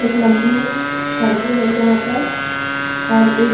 एक लंबी सड़के हैं यहां पर और एक --